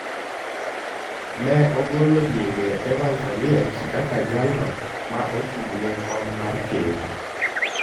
ne ogolo nyinge Evans Oliech kaka jalno ma ochung’ ne kom mar ker.